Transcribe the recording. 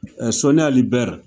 Soni Ali Ber